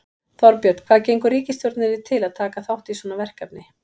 Þorbjörn, hvað gengur ríkisstjórninni til að taka þátt í svona verkefni?